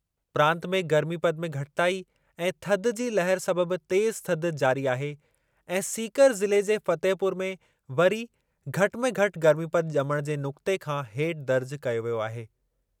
प्रांत में गर्मीपदु में घटिताई ऐं थधि जी लहर सबबि तेज़ु थधि जारी आहे ऐं सीकर ज़िले जे फतेहपुर में वरी घटि में घटि गर्मीपदु ॼमण जे नुक़्ते खां हेठि दर्ज़ कयो वियो आहे।